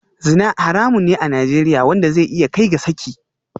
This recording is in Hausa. Zina haramun ne a Najeriya wanda zai iya kai ga saki